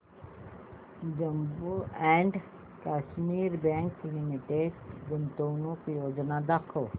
Jammu and Kashmir bank limited गुंतवणूक योजना दाखव